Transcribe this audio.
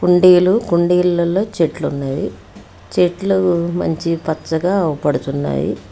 కుండీలు కుండీలలో చెట్లున్నవి చెట్లు మంచి పచ్చగా పడుతున్నాయి.